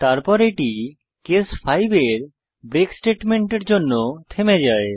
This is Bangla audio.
তারপর এটি কেস 5 এর ব্রেক স্টেটমেন্টের জন্য থেমে যায়